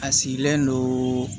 A sigilen don